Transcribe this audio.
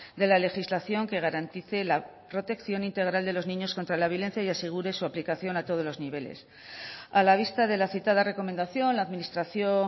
de la legislación que garantice la protección integral de los niños contra la violencia y asegure su aplicación a todos los niveles a la vista de la citada recomendación la administración